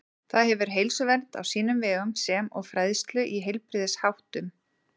Það hefur heilsuvernd á sínum vegum sem og fræðslu í heilbrigðisháttum.